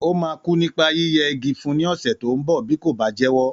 Ó máa kú nípa yíyẹ igi fún ní ọ̀sẹ̀ tó ń bọ̀, bí kò bá jẹ́wọ́.